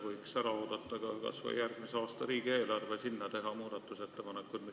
Võiks ära oodata kas või järgmise aasta riigieelarve ja selle muutmiseks ettepanekuid teha.